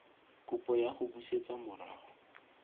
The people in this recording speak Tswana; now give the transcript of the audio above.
kopo ya go busetsa morago